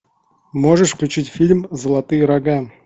можешь включить фильм золотые рога